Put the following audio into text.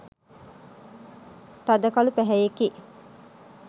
තද කළු පැහැයෙකි.